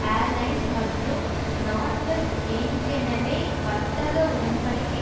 airlines மற்றும் Northwest ஏன்கெனவே வர்த்தக உடன் படிக்கை